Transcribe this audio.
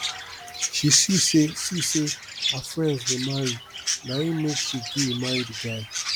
she see sey see sey her friends dey marry na im make she gree marry di guy